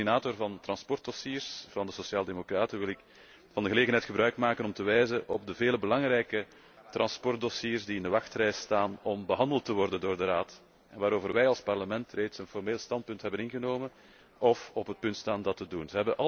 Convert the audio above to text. Maar als coördinator van transportdossiers van de sociaal democraten wil ik van de gelegenheid gebruik maken om te wijzen op de vele belangrijke transportdossiers die in de rij staan om behandeld te worden door de Raad en waarover wij als Parlement reeds een formeel standpunt hebben ingenomen of op het punt staan dat te doen.